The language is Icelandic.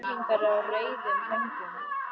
Örn sökkti sér niður í hugsanir.